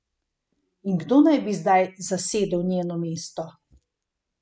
In kdo naj bi zdaj zasedel njeno mesto?